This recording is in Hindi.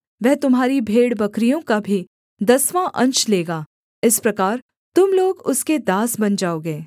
वह तुम्हारी भेड़बकरियों का भी दसवाँ अंश लेगा इस प्रकार तुम लोग उसके दास बन जाओगे